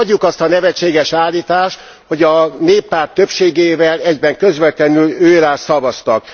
Hagyjuk azt a nevetséges állítást, hogy a Néppárt többségével egyben közvetlenül őrá szavaztak!